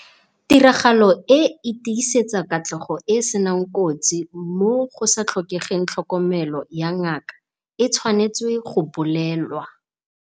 Tiragalo e e tlisetsang katlego e e seng kotsi mo go sa tlhokegweng tlhokomelo ya ngaka e tshwanetswe go bolelewa.